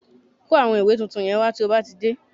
Kó àwọn ìwé tuntun yẹn wá tí ó bá ti dé